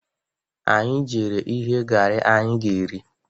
Anyị jere ighe garị anyị ga-eri.